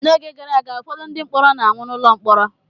N'oge gara aga, ụfọdụ ndị mkpọrọ na-anwụ n’ụlọ mkpọrọ